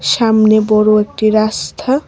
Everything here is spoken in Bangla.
সামনে বড় একটি রাস্থা ।